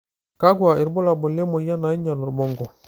kakua irbulabol le moyian naing'ial orbonko.